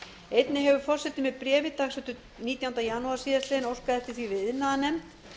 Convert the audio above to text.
einnig hefur forseti með bréfi dagsettu nítjánda janúar síðastliðnum óskað eftir því við iðnaðarnefnd